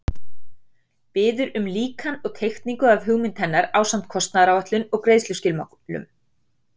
Biður um líkan og teikningu af hugmynd hennar ásamt kostnaðaráætlun og greiðsluskilmálum.